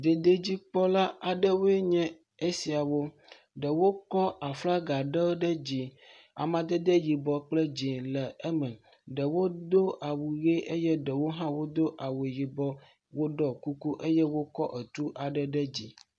…dzikpɔla aɖewo enye esiawo, ɖewo kɔ aflaga ɖewo ɖe dzi, amadede yibɔ kple dzee le eme, ɖewo do awu ʋe eye ɖewo hã wodo awu yibɔ, woɖɔ kuku eye wokɔ etu aɖe ɖe dzi.